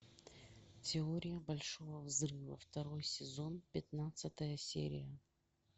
теория большого взрыва второй сезон пятнадцатая серия